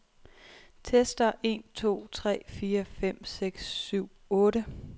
Tester en to tre fire fem seks syv otte.